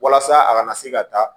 Walasa a kana se ka taa